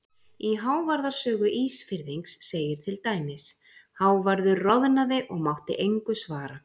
Í Hávarðar sögu Ísfirðings segir til dæmis: Hávarður roðnaði og mátti engu svara.